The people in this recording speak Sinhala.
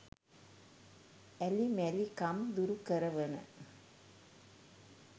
ඇලි මැලි කම් දුරුකරවන